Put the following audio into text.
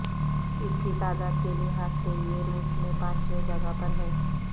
اس کی تعداد کے لحاظ سے یہ روس میں پانچویں جگہ پر ہے